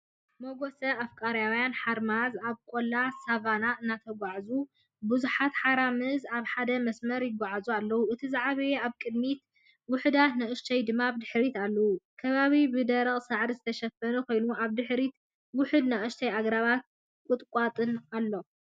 መጓሰ ኣፍሪቃውያን ሓራምዝ ኣብ ቆላ ሳቫና እናተጓዕዙ። ብዙሓት ሓራምዝ ኣብ ሓደ መስመር ይጓዓዙ ኣለዉ፡ እቲ ዝዓበየ ኣብ ቅድሚት፡ ውሑዳት ንኣሽቱ ድማ ብድሕሪት ኣለዉ። ከባቢ ብደረቕ ሳዕሪ ዝተሸፈነ ኮይኑ፡ ኣብ ድሕሪት ውሑዳት ንኣሽቱ ኣግራብን ቁጥቋጥን ኣሎ።